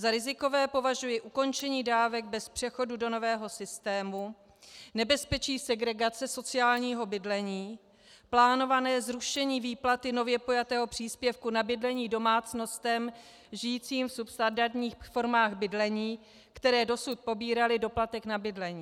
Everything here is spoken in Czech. Za rizikové považuji ukončení dávek bez přechodu do nového systému, nebezpečí segregace sociálního bydlení, plánované zrušení výplaty nově pojatého příspěvku na bydlení domácnostem žijícím v substandardních formách bydlení, které dosud pobíraly doplatek na bydlení.